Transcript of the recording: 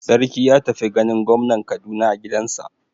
Sarki ya tafi ganin gwamnan Kaduna a gidansa.